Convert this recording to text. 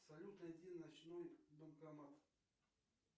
салют найди ночной банкомат